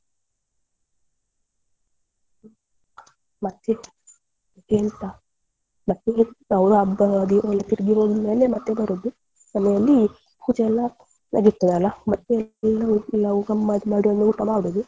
ಮತ್ತೆ ಮತ್ತೇಂತ ಮತ್ತೇಂತ ಅವ್ರು ಹಬ್ಬ ಆಗಿ ಹೋದ ತೀರ್ಗಿ ಹೋದ್ಮೇಲೆ ಮತ್ತೆ ಬರುದು ಮನೆಯಲ್ಲಿ ಪೂಜೆಯೆಲ್ಲ ಆಗಿರ್ತದಲ್ಲ ಮತ್ತೆ ನಾವ್ ನಾವ್ ಗಮ್ಮತ್ ಮಾಡಿ ಒಂದ್ ಊಟ ಮಾಡುದು.